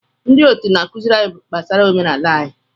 Ndị otu na-akụziri anyị gbasara omenala anyị.